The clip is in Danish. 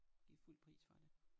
Givet fuld pris for det